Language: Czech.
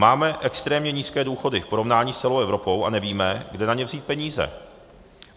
Máme extrémně nízké důchody v porovnání s celou Evropou a nevíme, kde na ně vzít peníze.